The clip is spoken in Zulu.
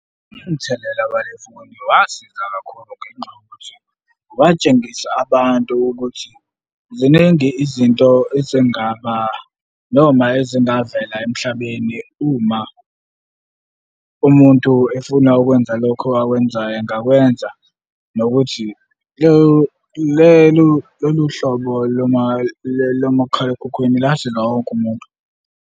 Umthelela walefoni wasiza kakhulu ngenxa yokuthi watshengisa abantu ukuthi ziningi izinto ezingaba noma ezingavela emhlabeni uma umuntu efuna ukwenza lokho akwenzayo engakwenza nokuthi lolu hlobo lomakhalekhukhwini lasiza wonke umuntu.